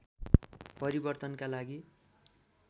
परिर्वतनका लागि